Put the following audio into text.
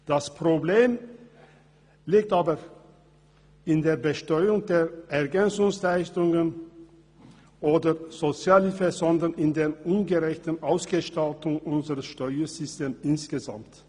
Das Problem liegt aber nicht in der Besteuerung der Ergänzungsleistungen oder der Sozialhilfe sondern in der ungerechten Ausgestaltung unseres Steuersystems insgesamt.